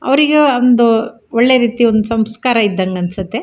ಅವ್ರಿಗೆ ಒಂದು ಒಳ್ಳೆ ರೀತಿ ಒಂದು ಸಂಸ್ಕಾರ ಇದಂಗ್ ಅನ್ನಸುತ್ತೆ.